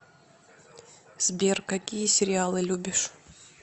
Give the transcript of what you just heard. сбер какие сериалы любишь